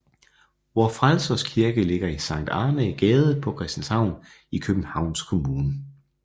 Vor Frelsers Kirke ligger i Sankt Annæ Gade på Christianshavn i Københavns Kommune